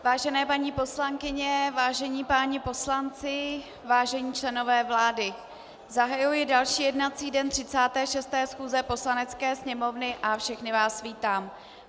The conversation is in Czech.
Vážené paní poslankyně, vážení páni poslanci, vážení členové vlády, zahajuji další jednací den 36. schůze Poslanecké sněmovny a všechny vás vítám.